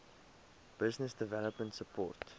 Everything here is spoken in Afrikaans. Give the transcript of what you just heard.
business development support